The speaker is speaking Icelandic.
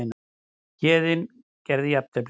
Héðinn gerði jafntefli